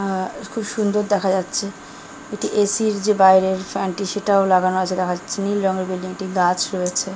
আর খুব সুন্দর দেখা যাচ্ছে একটি এসি র যে বাইরের ফ্যান টি সেটাও লাগানো আছে দেখা যাচ্ছে নীল রঙের বিল্ডিং টি গাছ রয়েছে ।